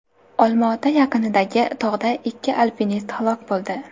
Olma-ota yaqinidagi tog‘da ikki alpinist halok bo‘ldi.